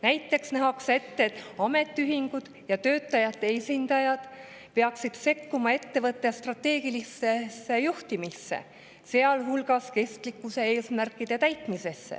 Näiteks nähakse ette, et ametiühingud ja töötajate esindajad peaksid sekkuma ettevõtte strateegilisse juhtimisse, sealhulgas kestlikkuseesmärkide täitmisse.